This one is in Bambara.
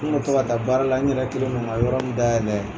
N tun bɛ to ka baara la n yɛrɛ kelen nanan ni yɔrɔni dayɛlɛ